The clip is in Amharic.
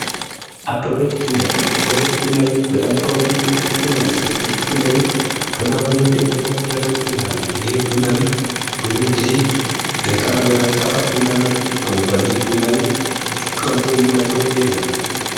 አበበች ቡና ቤት:- አበበች ቡና ቤት በጣም ታዋቂ የሆነ ቡና ቤት ሲሆን ይህ ቡና ቤት በጣም ቡዙ ደንበኛ ያለዉ ቡና ቤት ነዉ። ይህ ቡና ቤት ብዙ ጊዜ በጣም ጠፋጭ ቡናነቱ ይታወቃል። ይህ ቡና ቤት ቀምሶ የማይተዉ የለም።